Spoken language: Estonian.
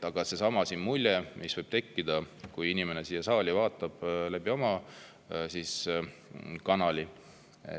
Aga kui inimene vaatab seda saali mingi kanali vahendusel, siis võib tal tekkida teistsugune mulje.